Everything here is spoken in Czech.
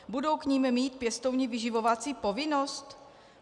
Budou k nim mít pěstouni vyživovací povinnost?